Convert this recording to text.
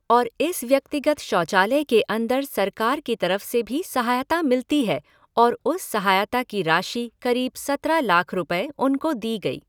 और इस व्यक्तिगत शौचालय के अन्दर सरकार की तरफ़ से भी सहायता मिलती है और उस सहायता की राशि क़रीब सत्रह लाख रुपये उनको दी गई।